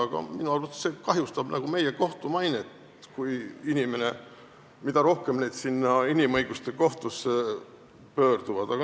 Aga minu arvates kahjustab see meie kohtu mainet, mida rohkem inimesi inimõiguste kohtusse pöördub.